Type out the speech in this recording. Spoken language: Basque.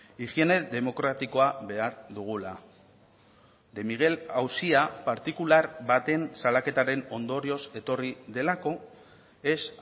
higiene demokratikoa behar dugula de miguel auzia partikular baten salaketaren ondorioz etorri delako ez